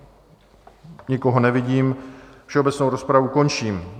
Nikoho nevidím, všeobecnou rozpravu končím.